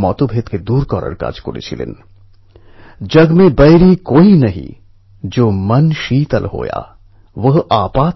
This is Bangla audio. রায়বেরিলির দুই আইটি প্রফেশনাল যোগেশ সাহুজী এবং রজনীশ বাজপেয়ীজী আমার